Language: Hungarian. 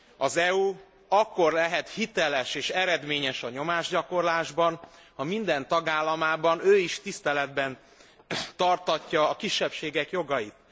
Az EU akkor lehet hiteles és eredményes a nyomásgyakorlásban, ha minden tagállamában ő is tiszteletben tartatja a kisebbségek jogait.